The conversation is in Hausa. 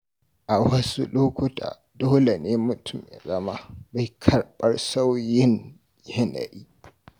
A wasu lokuta, dole ne mutum ya zama mai karɓar sauyin yanayi.